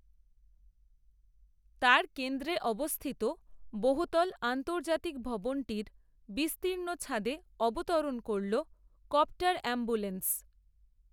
তার কেন্দ্রে অবস্থিত বহুতল, আন্তর্জাতিক ভবনটির বিস্তীর্ণ, ছাদে অবতরণ করল, কপ্টার অ্যাম্বুল্যান্স